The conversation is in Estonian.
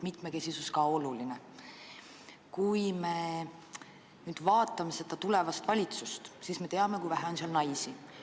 Kui me vaatame seda tulevast valitsust, siis me näeme, kui vähe on seal naisi.